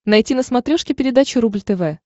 найти на смотрешке передачу рубль тв